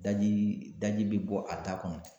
Daji, daji be bɔ a da kɔnɔ.